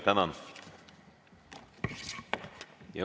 Tänan!